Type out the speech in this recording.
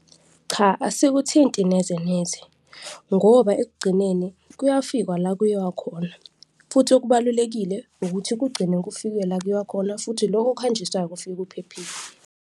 Cha, asikuthinti neze neze ngoba ekugcineni kuyafikwa la kuyiwa khona futhi okubalulekile ukuthi kugcine kufikiwe la kuyiwa khona futhi loko okuhanjiswayo kufike kuphephile.